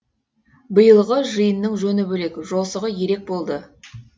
биылғы жиынның жөні бөлек жосығы ерек болды